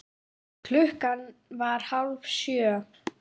Klukkan var hálf sjö.